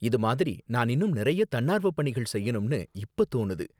இது மாதிரி நான் இன்னும் நிறைய தன்னார்வ பணிகள் செய்யணும்னு இப்ப தோணுது.